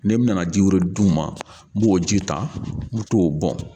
Ne n nana ji wɛrɛ d'u ma n m'o ji ta n bɛ t'o bɔn.